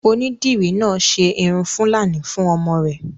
Onídìrí náà ṣe irun fúlàní fún ọmọ rẹ̀